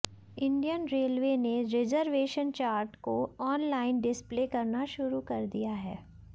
Indian railway ने reservation chart को online display करना शुरू कर दिया है